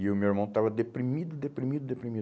E o meu irmão estava deprimido, deprimido, deprimido.